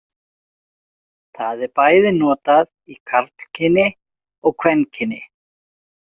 Það er bæði notað í karlkyni og kvenkyni.